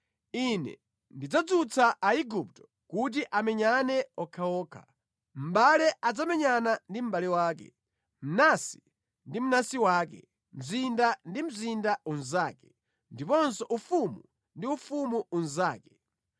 “Ine ndidzadzutsa Aigupto kuti amenyane okhaokha; mʼbale adzamenyana ndi mʼbale wake, mnansi ndi mnansi wake, mzinda ndi mzinda unzake, ndiponso ufumu ndi ufumu unzake.